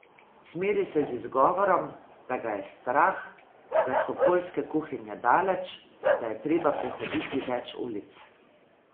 Cmeri se z izgovorom, da ga je strah, da so poljske kuhinje daleč, da je treba prehoditi več ulic.